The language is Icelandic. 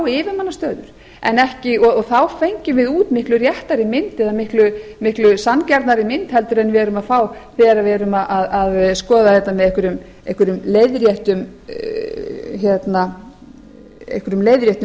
yfirmannastöður og þá fengjum við út miklu réttari mynd eða miklu sanngjarnari mynd en við erum að fá þegar við erum að skoða þetta með einhverjum leiðréttum